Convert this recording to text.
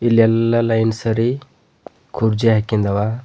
ಇಲ್ಲೆಲ್ಲ ಲೈನ್ ಸರಿ ಕುರ್ಚಿ ಹಾಕಿಂದವ.